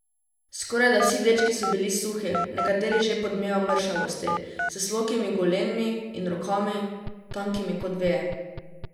Skorajda vsi dečki so bili suhi, nekateri že pod mejo mršavosti, s slokimi golenmi in rokami, tankimi kot veje.